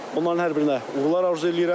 Onların hər birinə uğurlar arzu eləyirəm.